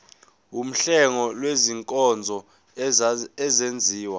wuhlengo lwezinkonzo ezenziwa